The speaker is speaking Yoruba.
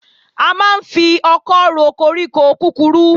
A máa ń fi ọkọ́ ro koríko kúkurú